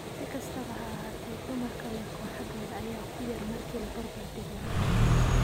Si kastaba ha ahaatee, dumarka leh kooxahooda ayaa ku yar marka la barbardhigo ragga.